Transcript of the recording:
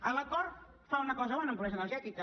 l’acord fa una cosa bona en pobresa energètica